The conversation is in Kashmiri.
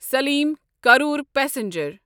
سلیم کرٛور پسنجر